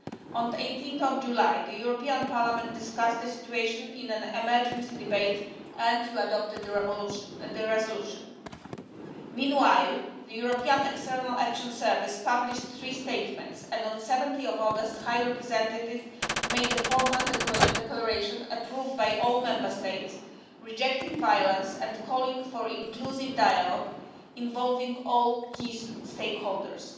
On 18 July, the European Parliament discussed the situation in an emergency debate and you adopted the resolution. Meanwhile, the European External Action Service published three statements, and on 17 August the High Representative made the formal declaration, approved by all Member States, rejecting violence and calling for inclusive dialogue involving all key stakeholders.